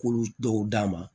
K'olu dɔw d'a ma